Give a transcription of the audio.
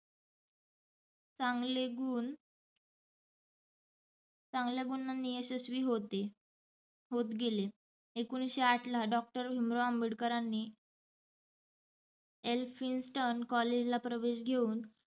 चांगले गुण चांगल्या गुणांनी यशस्वी होते, होत गेले. एकोणिसशे आठ ला doctor भिमराव आंबेडकरांनी एल्फिन्स्टन कॉलेज ला प्रवेश घेऊन